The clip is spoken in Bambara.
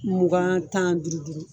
Mugan tan duuru duuru.